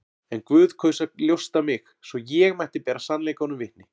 En Guð kaus að ljósta mig, svo ég mætti bera sannleikanum vitni.